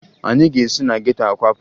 Anyị ga-esi na geto a kwapụ